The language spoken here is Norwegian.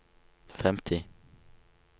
femti